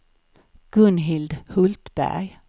Gunhild Hultberg